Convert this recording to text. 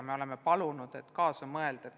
Me oleme palunud IT-sektoril kaasa mõelda.